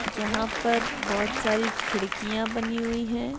यहाँ पर बोहत सारी खिड़िकयाँ बनी हुई है।